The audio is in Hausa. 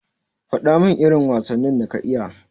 Fadamin irin wasannin da ka iya.